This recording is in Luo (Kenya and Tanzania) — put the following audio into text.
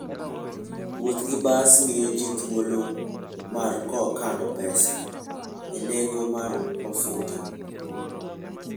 Wuoth gi bas miyo ji thuolo mar kano pesa e nengo mar mafuta.